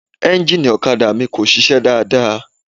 Ẹ́ńjínnìì ọ̀kadà mi kò sisẹ́ dáadáa.